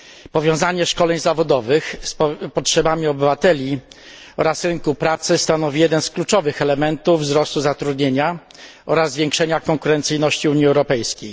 Powiązanie szkoleń zawodowych z potrzebami obywateli oraz rynku pracy stanowi jeden z kluczowych elementów wzrostu zatrudnienia oraz zwiększenia konkurencyjności Unii Europejskiej.